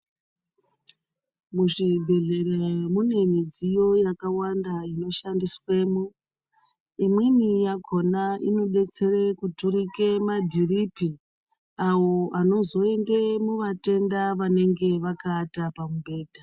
Muzvibhedhlera mune midziyo yakawanda inoshandiswemo. Imweni yakhona inodetsere kuturika madhiripi awo anozoende kuvatenda vanenge vakaata pamubhedha.